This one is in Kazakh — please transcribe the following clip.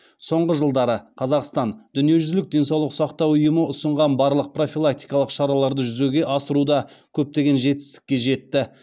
соңғы жылдары қазақстан дүниежүзілік денсаулық сақтау ұйымы ұсынған барлық профилактикалық шараларды жүзеге асыруда көптеген жетістікке жетті